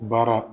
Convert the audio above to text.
Baara